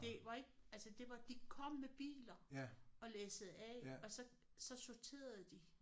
Det var ikke altså det var de kom med biler læssede af og så så sorterede de